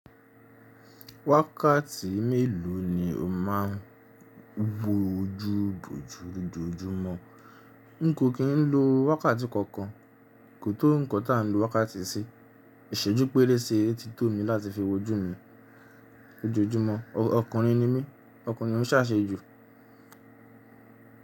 Wákàtí mélòó ni o máa ń gbo ojú bojú lojoojúmọ́? N kò kí ń lo wákàtí kankan, kò tó nǹkan ta ń lo wákàtí sí. Ìṣẹ́jú pẹ́rẹ́sẹ́ ti tó mi láti fi wojú mi ojojúmọ́. Ọkùnrin ni mí, ọkùnrin ò ń ṣàṣejù.